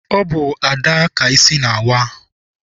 Ọ bụ Ada ka isi na-awa.